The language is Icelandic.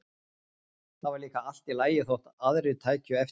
Það var líka allt í lagi þótt aðrir tækju eftir mér.